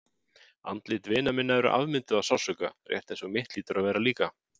Andlit vina minna eru afmynduð af sársauka, rétt eins og mitt hlýtur að vera líka.